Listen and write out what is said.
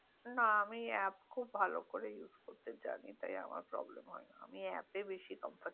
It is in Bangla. না আমি অ্যাপ খুব ভালো করে use করতে জানি তাই আমার প্রব্লেম হয় না আমি অ্যাপ এ বেশি comfitubol